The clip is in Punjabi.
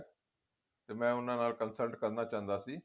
ਤੇ ਮੈਂ ਉਹਨਾਂ ਨਾਲ consult ਕਰਨਾ ਚਾਹੁੰਦਾ ਸੀ